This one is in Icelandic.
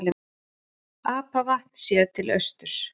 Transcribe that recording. Apavatn séð til austurs.